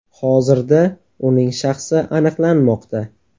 Hozirda uning shaxsi aniqlanmoqda.